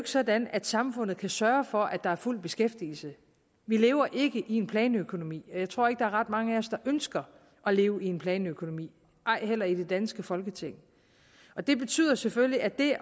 sådan at samfundet kan sørge for at der er fuld beskæftigelse vi lever ikke i en planøkonomi og jeg tror ikke der er ret mange af os der ønsker at leve i en planøkonomi ej heller i det danske folketing og det betyder selvfølgelig at det